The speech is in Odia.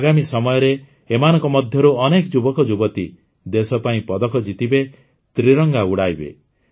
ଆଗାମୀ ସମୟରେ ଏମାନଙ୍କ ମଧ୍ୟରୁ ଅନେକ ଯୁବକଯୁବତୀ ଦେଶପାଇଁ ପଦକ ଜିତିବେ ତ୍ରିରଙ୍ଗା ଉଡ଼ାଇବେ